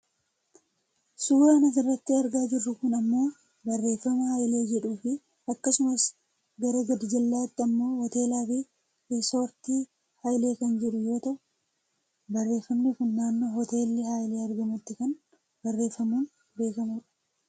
Suuraan asirratti argaa jirru kun ammoo barreefama Haile jedhuufi akkasumas gara gadjallaatti ammoo Hoteela fi Riisortii Hailee kan jedhu yoo ta'u barreefamni kun naannoo Hoteelli Hailee argamutti kan barreefamuun beekkamuu dha.